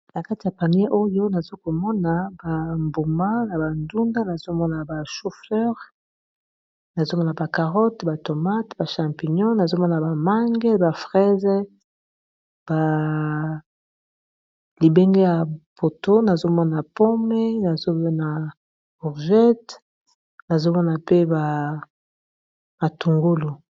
nakati a panier oyo nazokomona bambuma na bandunda nazomona ba chouffleur nazomona bacarotte batomate bachampignon nazomoa bamange baprese balibenge ya poto nazomona pome nazomona bourjete nazomona mpe bamatungolu